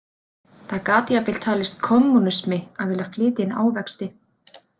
Það gat jafnvel talist kommúnismi að vilja flytja inn ávexti.